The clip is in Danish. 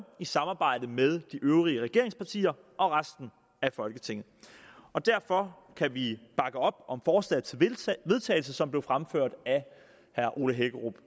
i samarbejde med de øvrige regeringspartier og resten af folketinget og derfor kan vi bakke op om forslaget til vedtagelse som blev fremført af herre ole hækkerup